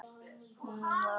Hún var náhvít.